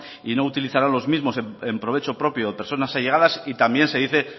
y no utilizarán los mismo en provecho propio o personas allegadas y también se dice